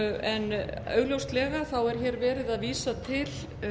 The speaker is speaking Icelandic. en augljóslega er verið að vísa til